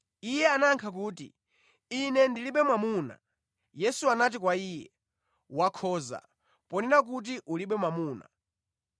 Iye anayankha kuti, “Ine ndilibe mwamuna.” Yesu anati kwa iye, “Wakhoza ponena kuti ulibe mwamuna.